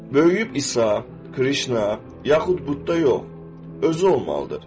Böyüyüb İsa, Krişna, yaxud Budda yox, özü olmalıdır.